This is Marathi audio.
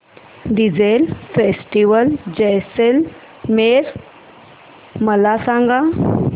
डेजर्ट फेस्टिवल जैसलमेर मला सांग